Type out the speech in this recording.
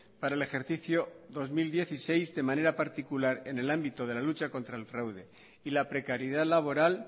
para el ejercicio dos mil dieciséis de manera particular en el ámbito de la lucha contra el fraude y la precariedad laboral